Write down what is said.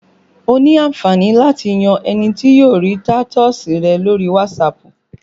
O ní àǹfààní láti yan ẹni tí yóò rí tatọ́ọ̀sì rẹ lórí Wasapu